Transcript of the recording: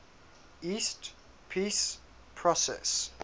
east peace process